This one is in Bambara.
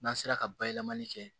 N'an sera ka bayɛlɛmali kɛ